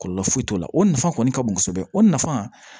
Kɔlɔlɔ foyi t'o la o nafa kɔni ka bon kosɛbɛ o nafa